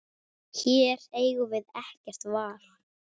Hér eigum við ekkert val.